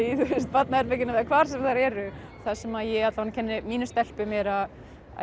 barnaherberginu eða hvar sem þær eru það sem ég kenni mínum stelpum er að